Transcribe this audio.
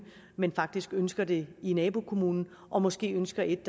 men faktisk ønsker det i nabokommunen og måske ønsker et